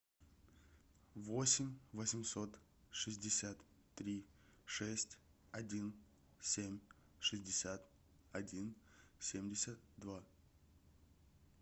восемь восемьсот шестьдесят три шесть один семь шестьдесят один семьдесят два